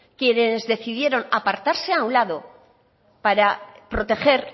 quienes decidieron apartarse a un lado para proteger